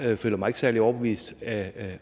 jeg føler mig ikke særlig overbevist af